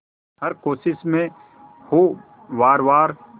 हर कोशिश में हो वार वार